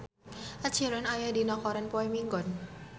Ed Sheeran aya dina koran poe Minggon